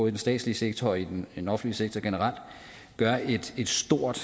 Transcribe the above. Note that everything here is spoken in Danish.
i den statslige sektor og i den offentlige sektor generelt gør et stort